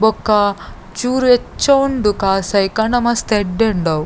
ಬೊಕ್ಕ ಚೂರು ಹೆಚ್ಚ ಉಂಡು ಕಾಸ್ ಐಕಾಂಡ ಮಸ್ತ್ ಎಡ್ಡೆ ಉಂಡು ಅವು.